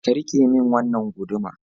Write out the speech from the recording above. Ka rike min wannan guduma